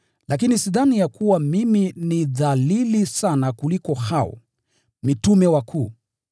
Lakini sidhani ya kuwa mimi ni dhalili sana kuliko hao “mitume wakuu.”